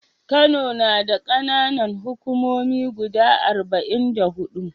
Kano nada kAna Nan hukumomi guda arba'in da hudu